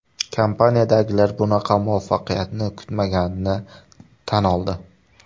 Kompaniyadagilar bunaqa muvaffaqiyatni kutmaganini tan oldi.